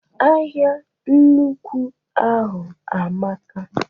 Ahịa nnukwu ahụ amaka.